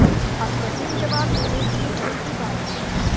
अब कठिन जवाब लेने की उनकी बारी थी